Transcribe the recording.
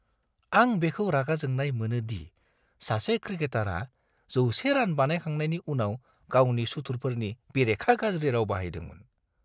आं बेखौ रागा जोंनाय मोनो दि सासे क्रिकेटारआ जौसे रान बानायखांनायनि उनाव गावनि सुथुरफोरनि बेरेखा गाज्रि राव बाहायदोंमोन!